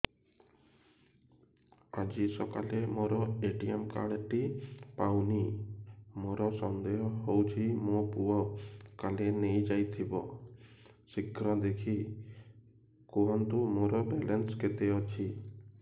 ଆଜି ସକାଳେ ମୋର ଏ.ଟି.ଏମ୍ କାର୍ଡ ଟି ପାଉନି ମୋର ସନ୍ଦେହ ହଉଚି ମୋ ପୁଅ କାଳେ ନେଇଯାଇଥିବ ଶୀଘ୍ର ଦେଖି କୁହନ୍ତୁ ମୋର ବାଲାନ୍ସ କେତେ ଅଛି